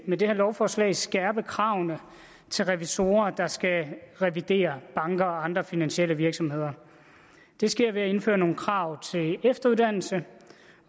med det her lovforslag skærpe kravene til revisorer der skal revidere banker og andre finansielle virksomheder det sker ved at indføre nogle krav til efteruddannelse